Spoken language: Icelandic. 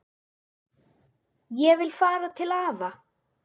Ég vil fara til afa